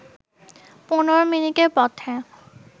১৫ মিনিটের পথে